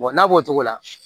n'a b'o cogo la